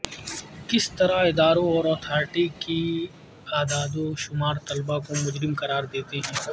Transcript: کس طرح اداروں اور اتھارٹی کے اعداد و شمار طلباء کو مجرم قرار دیتے ہیں